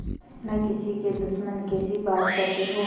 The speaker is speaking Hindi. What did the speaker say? न किसी के दुश्मन कैसी बात कहते हो